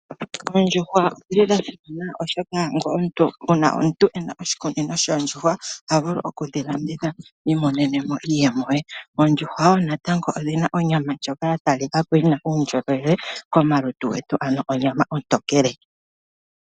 Oondjuhwa odhili dha simana oshoka ngele omuntu ena oshikunino shoondjuwa, oha vulu okudhi landitha, iimonene mo iiyemo ye. Oondjuhwa woo natango odhina onyama ndjoka ya talika ko yina uundjolowele komalutu getu, ano onyama ontokele.